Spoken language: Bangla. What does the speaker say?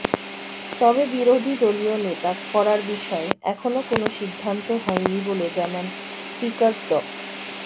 তবে বিরোধী দলীয় নেতা করার বিষয়ে এখনো কোনো সিদ্ধান্ত হয়নি বলে জানান স্পিকার ড